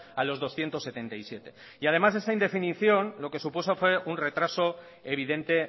a los doscientos setenta y siete además de esa indefinición lo que supuso fue un retraso evidente